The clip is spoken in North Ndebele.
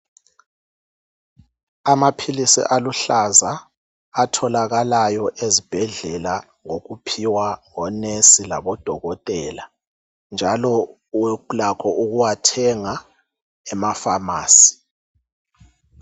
Amaphilisi aluhlaza atholakalayo ezibhedlela ngokuphiwa onensi labo dokotela njalo ulakho ukuwathenga emafamasi.